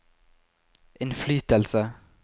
innflytelse